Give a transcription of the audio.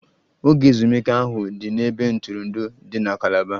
Oge ezumike ahụ dị n'ebe ntụrụndụ dị na Calaba